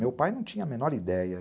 Meu pai não tinha a menor ideia.